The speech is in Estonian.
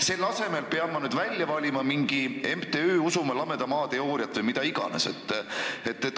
Selle asemel pean ma välja valima mingi MTÜ Usume Lameda Maa Teooriat või mida iganes.